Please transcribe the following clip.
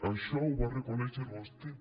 això ho va reconèixer vostè